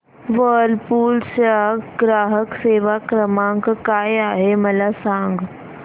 Whirlpool चा ग्राहक सेवा क्रमांक काय आहे मला सांग